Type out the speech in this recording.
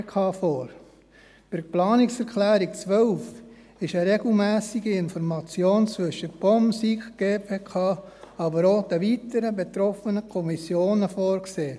Bei der Planungserklärung 12 ist eine regelmässige Information zwischen POM, SiK und GPK, aber auch den weiteren betroffenen Kommissionen vorgesehen.